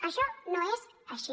això no és així